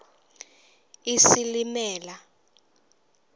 isilimela